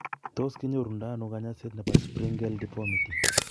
Tos kinyoru ndo ano kanyaiset nebo Sprengel deformity ?